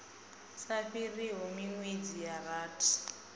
sa fhiriho minwedzi ya rathi